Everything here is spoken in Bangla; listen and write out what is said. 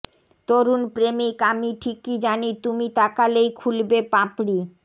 তরুণ প্রেমিক আমি ঠিকই জানি তুমি তাকালেই খুলবে পাপড়ি